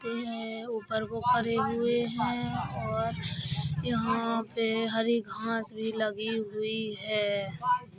उपर को करे हुए हैं और यहां पे हरी घास भी लगी हुई है।